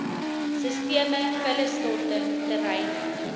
sisteme vullisstortings terreine